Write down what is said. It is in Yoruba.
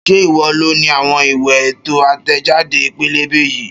Ṣé ìwọ loni àwọn ìwé ètò àtẹ̀jáde pẹ́lẹ́bẹ́ yìí?